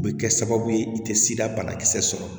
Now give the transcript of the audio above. U bɛ kɛ sababu ye i tɛ sida banakisɛ sɔrɔ